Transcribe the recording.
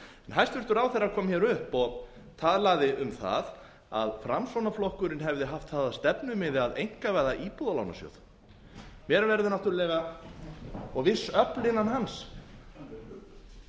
hæstvirtur ráðherra kom hér upp og talaði um það að framsóknarflokkurinn hefði haft það að stefnumiði að einkavæða íbúðalánasjóð og viss öfl innan hans mér verður náttúrlega